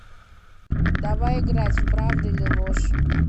давай играть в правда или ложь